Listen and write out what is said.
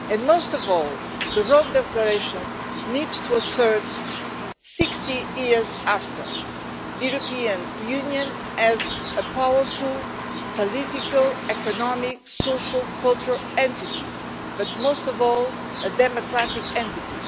Most of all, the Rome Declaration needs to assert, 60 years later, the European Union as a powerful, political, economic, social and cultural entity, but most of all a democratic entity.